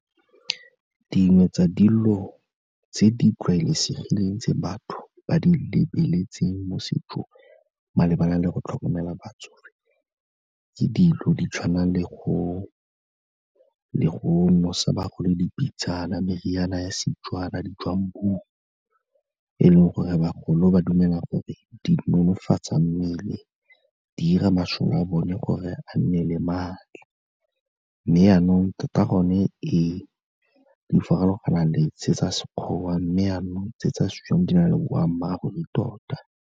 Dingwe tsa dilo tse di tlwaelesegileng tse batho ba di lebeletseng mo setsong malebana le go tlhokomela batsofe ke dilo di tshwana le go nosa bagolo dipitsana, meriana ya seTswana, ditswammung, e leng gore bagolo ba dumela gore di nonofatsa mmele, di 'ira masole a bone gore a nne le maatla, mme jaanong tota gone ee, di farologana le tse tsa Sekgowa, mme jaanong tse tsa seTswana di na le boammaaruri tota.